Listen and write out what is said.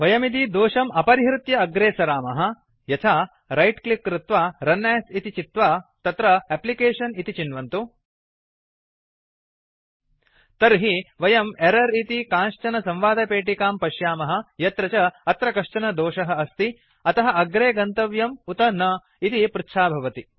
वयं यदि दोषम् अपरिहृत्य अग्रे सरामः यथा रैट् क्लिक् कृत्वा रुन् अस् इति चित्वा तत्र एप्लिकेशन इति चिन्वन्तु तर्हि वयं एरर् इति कांश्चन संवादपेटिकां पश्यामः यत्र च अत्र कश्चन दोषः अस्ति अतः अग्रे गन्तव्यम् उत न इति पृच्छा भवति